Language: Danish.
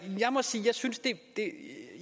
sige at